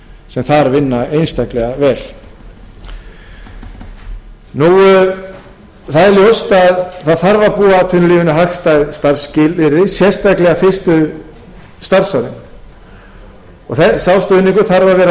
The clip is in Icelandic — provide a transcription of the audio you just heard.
sem þar vinna einstaklega vel það er ljóst að það þarf að búa atvinnulífinu hagstæð starfsskilyrði sérstaklega fyrstu starfsárin sá stuðningur þarf að vera sambærilegur